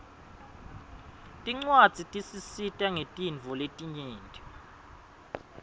tincwadzi tisisita ngetintfo letinyenti